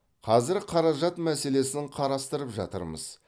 қазір қаражат мәселесін қарастырып жатырмыз